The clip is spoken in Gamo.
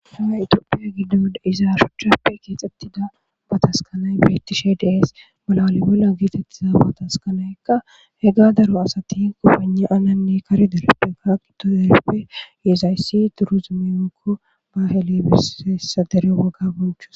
haa itiopiya giddon izaarshochappe keexxettida ba taskanay beettishe dees bala alibola geetettiza bataskanaykka he ga daro asatin kopane ananne kari dereppe gaaqito dereppe yeezayssi duruzumiyokko ba helebiseessa dere woga bonchus